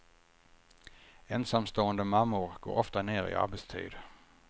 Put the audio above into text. Ensamstående mammor går ofta ner i arbetstid.